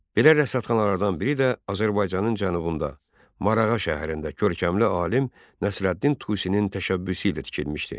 Belə rəsədxanalardan biri də Azərbaycanın cənubunda, Marağa şəhərində görkəmli alim Nəsrəddin Tusinin təşəbbüsü ilə tikilmişdi.